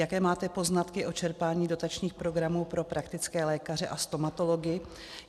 Jaké máte poznatky o čerpání dotačních programů pro praktické lékaře a stomatology?